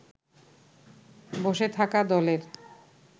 বসে থাকা দলের